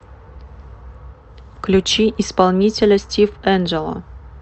включи исполнителя стив энджело